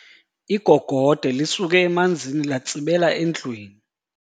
Igogode lisuke emanzini latsibela endlwini.